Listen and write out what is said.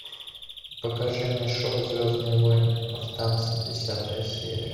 покажи мне шоу звездные войны повстанцы десятая серия